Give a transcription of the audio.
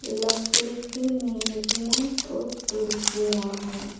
लकड़ी की मेज है और कुर्सियां हैं।